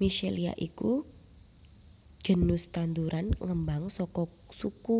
Michelia iku genus tanduran ngembang saka suku